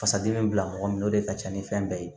Fasadimi bila mɔgɔ min na o de ka ca ni fɛn bɛɛ ye